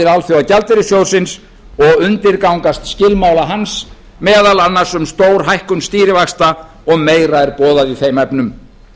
alþjóðagjaldeyrissjóðsins og undirgangast skilmála hans meðal annars um stórhækkun stýrivaxta og meira er boðað í þeim efnum